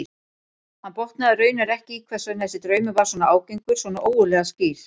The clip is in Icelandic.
Hann botnaði raunar ekki í hvers vegna þessi draumur var svona ágengur, svona ógurlega skýr.